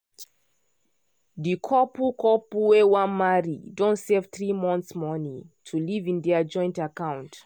di couple couple wey wan marry don save three months money to live in their joint account.